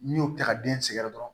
N'i y'o ta ka den sɛgɛrɛ dɔrɔn